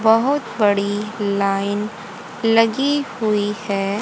बहुत बड़ी लाइन लगी हुई है।